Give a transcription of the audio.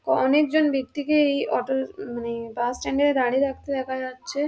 ক অনেকজন ব্যক্তিকে এই অটো উমম মানে বাস স্ট্যান্ড -এ দাঁড়িয়ে থাকতে দেখা যাচ্ছে ।